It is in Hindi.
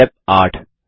स्टेप 8